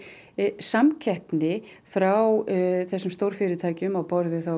samkeppni frá þessum stórfyrirtækjum á borð við